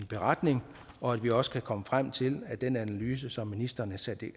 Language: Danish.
beretning og at vi også kan komme frem til at den analyse som ministeren